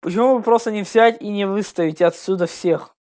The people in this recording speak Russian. почему бы просто не взять и не выставить отсюда всех